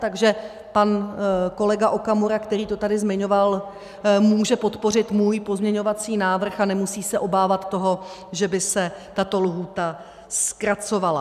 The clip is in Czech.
Takže pan kolega Okamura, který to tady zmiňoval, může podpořit můj pozměňovací návrh a nemusí se obávat toho, že by se tato lhůta zkracovala.